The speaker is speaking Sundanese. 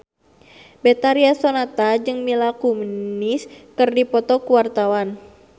Betharia Sonata jeung Mila Kunis keur dipoto ku wartawan